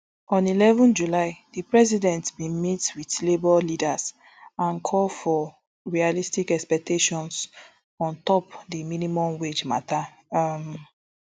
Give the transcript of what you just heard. on eleven july di president bin meet wit labour leaders and and call for realistic expectations on top di minimum wage mata um